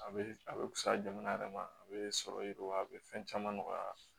A bɛ a bɛ fisaya jamana yɛrɛ ma a bɛ sɔrɔ yiriwa a bɛ fɛn caman nɔgɔya